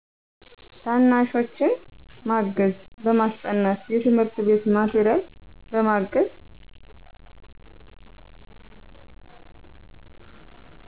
ታናሾችን ማገዝ በማሰጠናት የትምህርት ቤት ማቴሪያል በማገዝ።